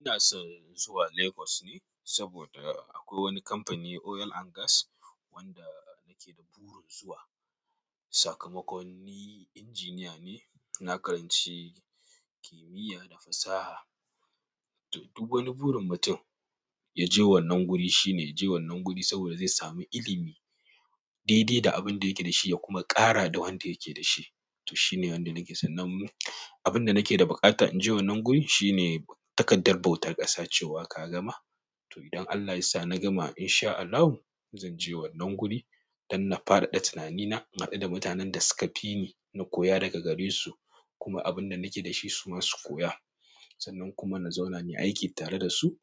Ina son zuwa Lagos ne saboda akwai wani kamfani oil and gas wanda nake da burin zuwa. Sakamakoni injiniya ne. Na karanci kimiyya da fasaha. To, duk wani burin mutum ya je wannan guri shine ya je wannan guri saboda zai sami ilimi daidai da abin da yake da shi ya kuma ƙara da wanda yake da shi. To shine wanda nake so nan abin da nake da buƙata in je wannan guri shine takardar bautar ƙasa cewa ka gama. To idan Allah ya sa na gama in sha Allahu, zan je wannan guri don na faɗaɗa tunanina, na haɗu da mutanen da suka fi ni, na koya daga gare su kuma abin da nake da shi su ma su koya sannan kuma na zauna nayi aiki tare da su.